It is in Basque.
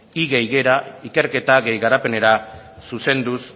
batgarren más gra ikerketa más garapenera zuzenduz